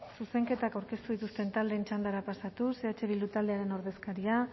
zuzenketak aurkeztu dituzten taldeen txandara pasatuz eh bildu taldearen ordezkaria